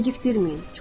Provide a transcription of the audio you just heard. Gecikdirməyin.